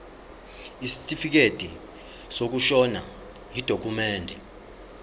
isitifikedi sokushona yidokhumende